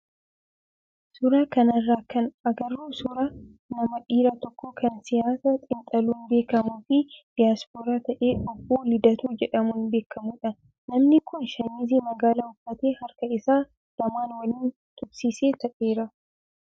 suuraa kanarraa kan agarru suuraa nama dhiiraa tokko kan siyaasa xiinxaluun beekamuu fi diyaaspooraa ta'e obbo Lidatuu jedhamuun beekamudha. Namni kun shaamizii magaala uffatee harka isaa lamaan waliin tuqsiisee taa'eera.